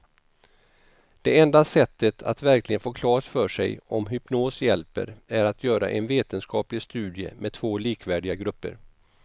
Det enda sättet att verkligen få klart för sig om hypnos hjälper är att göra en vetenskaplig studie med två likvärdiga grupper.